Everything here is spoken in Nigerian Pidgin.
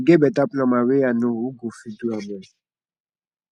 e get beta plumber wey i know who go fit do am well